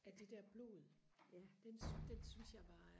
af det der blod den den synes jeg var